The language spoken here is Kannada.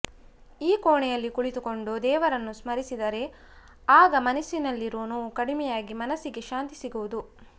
ಈ ಕೋಣೆಯಲ್ಲಿ ಕುಳಿತುಕೊಂಡು ದೇವರನ್ನು ಸ್ಮರಿಸಿದರೆ ಆಗ ಮನಸ್ಸಿನಲ್ಲಿರುವ ನೋವು ಕಡಿಮೆಯಾಗಿ ಮನಸ್ಸಿಗೆ ಶಾಂತಿ ಸಿಗುವುದು